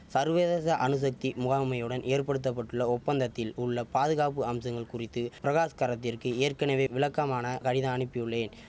சர்வதேச அணுசக்தி முகாமையுடன் ஏற்படுத்த பட்டுள்ள ஒப்பந்தத்தில் உள்ள பாதுகாப்பு அம்சங்கள் குறித்து பிரகாஷ் கரத்திற்க்கு ஏற்கனவே விளக்கமான கடிதம் அனிப்பியுள்ளேன்